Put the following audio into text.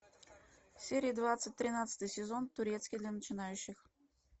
серия двадцать тринадцатый сезон турецкий для начинающих